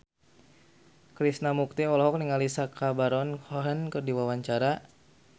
Krishna Mukti olohok ningali Sacha Baron Cohen keur diwawancara